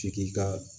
Tigi ka